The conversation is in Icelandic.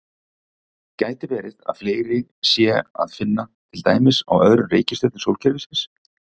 Gæti verið að fleiri sé að finna til dæmis á öðrum reikistjörnum sólkerfisins?